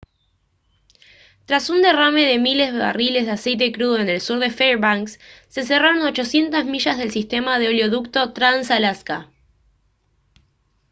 tras un derrame de miles barriles de aceite crudo en el sur de fairbanks se cerraron 800 millas del sistema de oleoducto trans-alaska